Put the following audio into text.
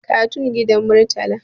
katun gidan murtala